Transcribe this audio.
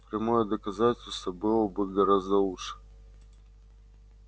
прямое доказательство было бы гораздо лучше